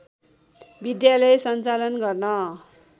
विद्यालय सञ्चालन गर्न